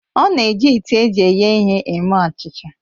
Ọ na-eji ite eji eghe ihe eme achịcha